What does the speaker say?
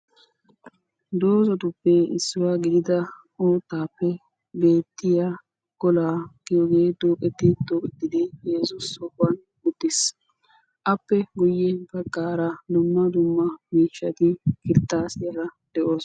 Doozatuppe issuwa gidida uuttaappe beettiya golaa giyogee duuxetti wodhdhidi 3u sohuwan uttiis. Appe guyye baggaara dumma dumma miishshati kirttaasiyara de'oosona.